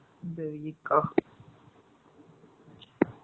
இந்த week அ